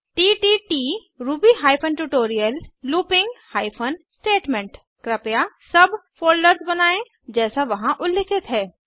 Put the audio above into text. तत् Ruby hyphen tutorial looping hyphen statement कृपया सब फ़ोल्डर्स बनायें जैसा वहां उल्लिखित है